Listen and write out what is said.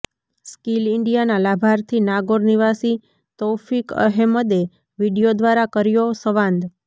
skill ઈન્ડિયાના લાભાર્થી નાગોર નિવાસી તૌફીક અહેમદે વીડિયો દ્વારા કર્યો સંવાદ